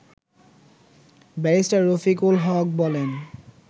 barrister Rafiqul Haque বলেন